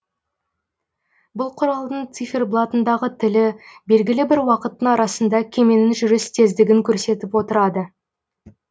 бұл құралдың циферблатындағы тілі белгілі бір уақыттың арасында кеменің жүріс тездігін көрсетіп отырады